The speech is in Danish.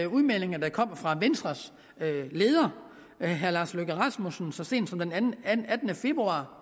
udmeldinger der kom fra venstres leder herre lars løkke rasmussen så sent som den attende februar